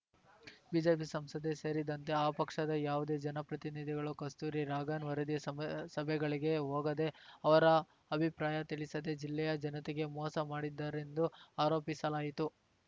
BJP ಸಂಸದೆ ಸೇರಿದಂತೆ ಆ ಪಕ್ಷದ ಯಾವುದೇ ಜನಪ್ರತಿನಿಧಿಗಳು ಕಸ್ತೂರಿ ರಂಗನ್‌ ವರದಿ ಸಬ್ ಸಭೆಗಳಿಗೆ ಹೋಗದೇ ಅವರ ಅಭಿಪ್ರಾಯ ತಿಳಿಸದೇ ಜಿಲ್ಲೆಯ ಜನತೆಗೆ ಮೋಸ ಮಾಡಿದ್ದಾರೆಂದು ಆರೋಪಿಸಲಾಯಿತು